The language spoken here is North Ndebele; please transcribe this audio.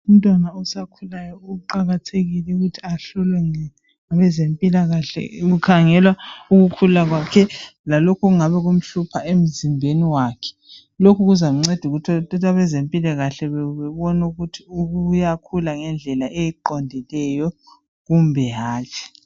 Umntwana osakhulayo uqakathekile ukuthi ahlolwe ngabezempilakahle kukhangelwa ukukhula kwake lalokho okungabe kumhlupha emzimbeni wakhe lokhu kuzamnceda ukuthi abezempilakahle ukuze babone ukuthi uyakhula ngendlela eqondileyo kumbe hatshi